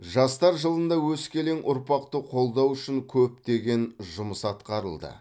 жастар жылында өскелең ұрпақты қолдау үшін көптеген жұмыс атқарылды